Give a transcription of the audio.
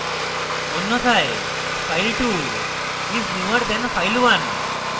অন্যথায় file2 is newer than file1